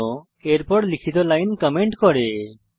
চিহ্ন এর পর লিখিত লাইন কমেন্ট করে